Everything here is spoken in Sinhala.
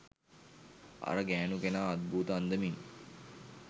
අර ගෑනු කෙනා අත්භූත අන්දමින්